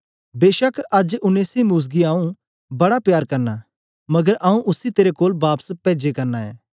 बेछक अज्ज उनेसिमुस गी आऊँ बड़ा प्यार करना मगर आऊँ उसी तेरे कोल बापस पेजै करना ऐं